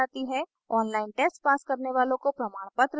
online test pass करने वालों को प्रमाणपत्र देते हैं